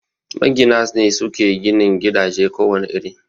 Magina ne suke ginin gidaje ko wane iri